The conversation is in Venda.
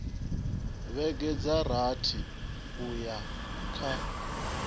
vhege dza rathi uya kha